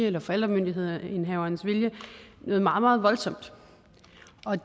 eller forældremyndighedsindhavernes vilje noget meget meget voldsomt